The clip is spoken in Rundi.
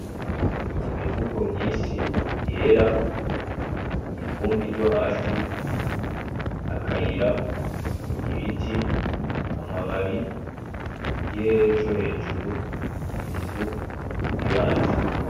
Imifuko myinshi yera, ivumbi ryo hasi, akayira, ibiti, amababi, ikirere co hejuru,i nzu, n'ibati.